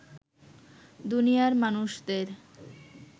দুনিয়ার মানুষদের